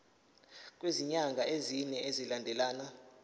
kwezinyanga ezine zilandelana